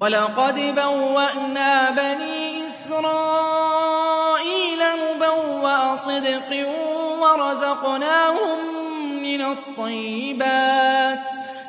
وَلَقَدْ بَوَّأْنَا بَنِي إِسْرَائِيلَ مُبَوَّأَ صِدْقٍ وَرَزَقْنَاهُم مِّنَ الطَّيِّبَاتِ